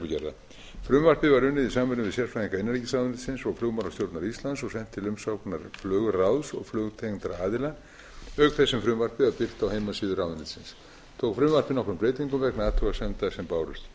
evrópureglugerðar frumvarpið var unnið í samráði við sérfræðinga innanríkisráðuneytisins og flugmálastjórnar íslands og sent til umsagnar flugráðs og flugtengdra aðila auk þess sem frumvarpið er birt á heimasíðu ráðuneytisins tók frumvarpið nokkrum breytingum vegna athugasemda sem bárust ég